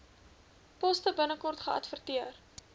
poste binnekort geadverteer